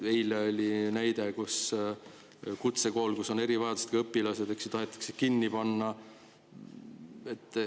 Eilsest on selline näide, et kutsekool, kus on erivajadustega õpilased, tahetakse kinni panna.